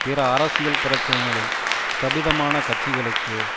பிற அரசியல் பிரச்சனைகளில் ஸ்பிதமான கட்சிகளுக்கு